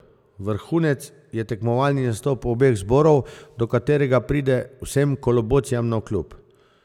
Vrhunec je tekmovalni nastop obeh zborov, do katerega pride vsem kolobocijam navkljub.